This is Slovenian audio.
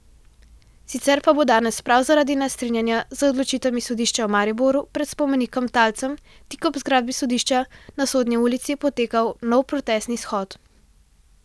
Sicer pa bo danes prav zaradi nestrinjanja z odločitvami sodišča v Mariboru pred spomenikom talcem tik ob zgradbi sodišča na Sodni ulici potekal nov protestni shod.